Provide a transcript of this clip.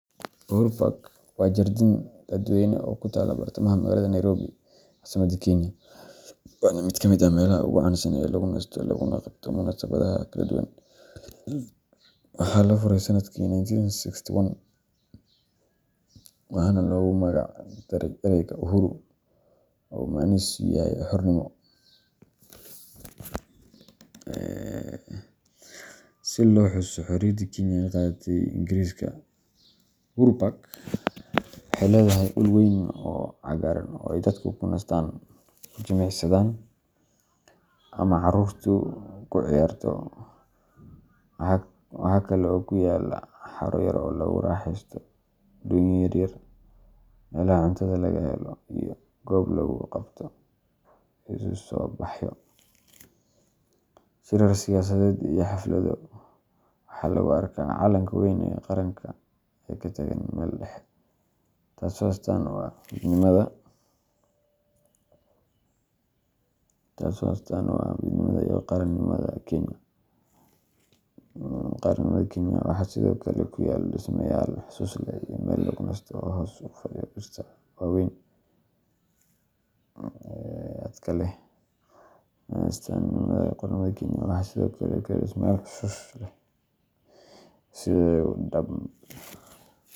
Uhuru Park waa jardiin dadweyne oo ku taalla bartamaha magaalada Nairobi, caasimadda Kenya, waana mid ka mid ah meelaha ugu caansan ee lagu nasto laguna qabto munaasabadaha kala duwan. Waxaa la furay sanadkii nineteen sixty-nine waxaana loogu magac daray ereyga Uhuru oo macnihiisu yahay xornimo, si loo xuso xorriyaddii Kenya ka qaadatay gumeysigii Ingiriiska. Uhuru Park waxay leedahay dhul weyn oo cagaaran oo ay dadku ku nastaan, ku jimicsadaan, ama carruurtu ku ciyaarto. Waxa kale oo ku yaalla haro yar oo lagu raaxaysto doonyo yaryar, meelaha cuntada laga helo, iyo goob lagu qabto isu soo baxyo, shirar siyaasadeed iyo xaflado. Waxaa lagu arkaa calanka weyn ee qaranka oo ka taagan meel dhexe, taasoo astaan u ah midnimada iyo qaranimada Kenya. Waxaa sidoo kale ku yaal dhismayaal xusuus leh iyo meel lagu nasto oo hoos u fadhiya dhirta waaweyn ee hadhka leh. Sannadihii u danbe.